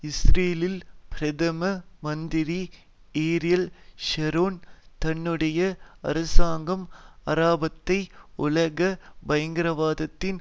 இஸ்ரேலில் பிரதம மந்திரி ஏரியல் ஷரோன் தன்னுடைய அரசாங்கம் அராபத்தை உலக பயங்கரவாதத்தின்